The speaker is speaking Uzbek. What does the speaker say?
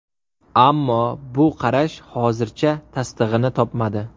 Ammo bu qarash hozircha tasdig‘ini topmadi.